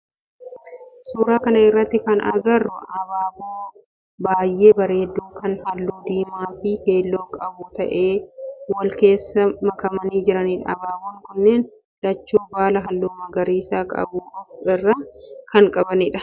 Suuraa kana irratti kan agarru abaaboo baayyee bareedu kan halluu diimaa fi keelloo qabu ta'ee wal keessa makamanii jiranidha. Abaaboon kunneen lachuu baala halluu magariisa qabu of irraa kan qabanidha.